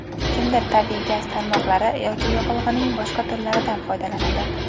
kimdir tabiiy gaz tarmoqlari yoki yoqilg‘ining boshqa turlaridan foydalanadi.